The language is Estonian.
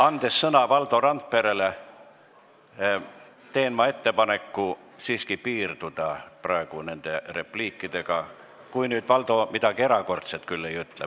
Andes sõna Valdo Randperele, teen ma ettepaneku siiski piirduda nende repliikidega, kui nüüd Valdo midagi erakordset ei ütle.